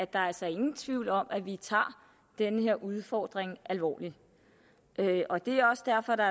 der er altså ingen tvivl om at vi tager den her udfordring alvorligt og det er også derfor der